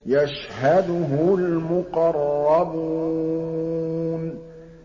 يَشْهَدُهُ الْمُقَرَّبُونَ